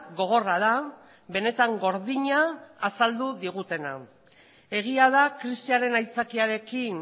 gogorra da benetan gordina azaldu digutena egia da krisiaren aitzakiarekin